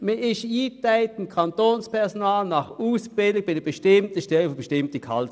Das Kantonspersonal ist je nach Ausbildung in einer bestimmten Gehaltsklasse eingeteilt.